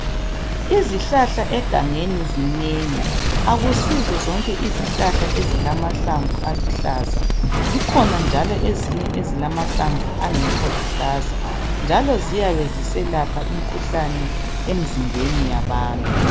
Izihlahla egangeni zinengi. Akusizo zonke izihlahla ezilamahlamvu aluhlaza, zikhona njalo ezinye ezilamahlamvu angekho luhlaza njalo ziyabe ziselapha imkhuhlane emzimbeni yabantu.